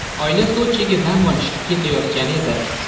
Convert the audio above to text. Oila Sochiga dam olishga ketayotgan edi.